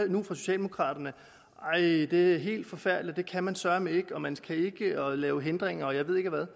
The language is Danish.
fra socialdemokraterne at det er helt forfærdeligt det kan man søreme ikke og man skal ikke lave hindringer og jeg ved ikke hvad